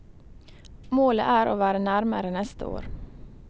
Målet er å være nærmere neste år.